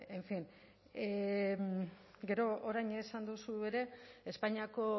en fin gero orain esan duzu ere espainiako